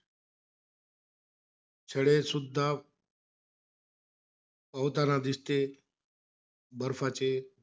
सडे सुद्धा पोहवताना दिसते बर्फाचे.